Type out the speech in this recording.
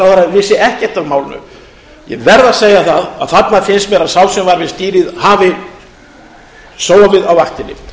vissi ekkert af málinu ég verð að segja það að þarna finnst mér að sá sem var við stýrið hafi sofið á vaktinni